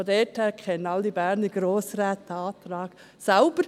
Insofern kennen alle Berner Grossräte diesen Antrag selbst.